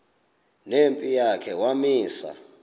nempi yakhe wamisa